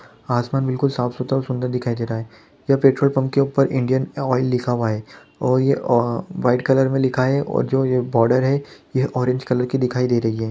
आसमान बिल्कुल साफ सुथरा और सुन्दर दिखाई दे रहा है यह पेट्रोल पंप के ऊपर इंडियन ऑयल लिखा हुआ है और ये अ वाइट कलर में लिखा है और जो ये बॉर्डर है यह ऑरेंज कलर की दिखाई दे रही है।